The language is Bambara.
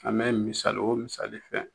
An bɛ misali o misali fɛn